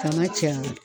Kana cɛ a la